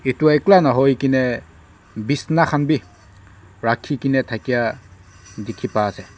Etu ekla nahoi kena beshna khan beh rakhe kena thakya dekhe pai ase.